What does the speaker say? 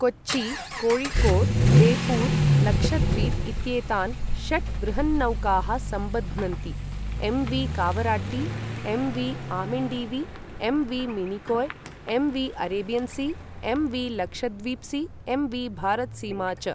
कोच्चि, कोळिकोड् बेपूर् लक्षद्वीप् इत्येतान् षट् वृहन्नौकाः सम्बध्नन्ति एम्.वी.कावराट्टी, MV. आमिण्डीवी, MV. Minicoy, MV. Arabian C, MV. Lakshadweep C, MV. Bharat सीमा च।